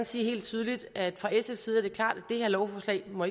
sige helt tydeligt at fra sfs side er det klart at det her lovforslag ikke må